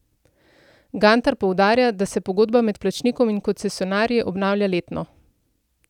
Gantar poudarja, da se pogodba med plačnikom in koncesionarji obnavlja letno.